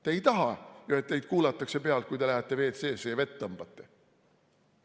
Te ei taha ju, et teid kuulatakse pealt, kui te lähete WC-sse ja vett tõmbate?